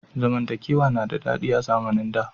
Zamantakewa na da daɗi a zamnin da.